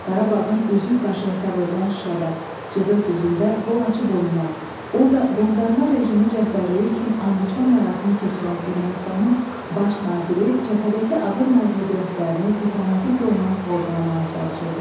Qarabağın üzük qaşı hesab edilən Şuşada cıdır düzündə qol açıb oynayan, orda qondarma rejimin rəhbərliyi üçün andiçmə mərasimi keçirən Ermənistanın baş naziri cəbhədəki ağır məğlubiyyətlərini diplomatik yolla sığortalamağa çalışırdı.